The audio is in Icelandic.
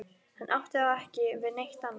Hann átti þá ekki við neitt annað.